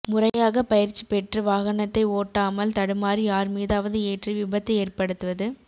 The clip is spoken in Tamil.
முறையாக பயிற்சி பெற்று வாகனத்தை ஒட்டமால் தடுமாறி யார் மீதாவது ஏற்றி விபத்து ஏற்படுத்துவது